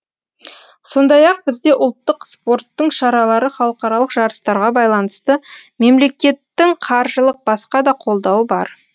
сондай ақ бізде ұлттық спорттың шаралары халықаралық жарыстарға байланысты мемлекеттің қаржылық басқа да қолдауы бар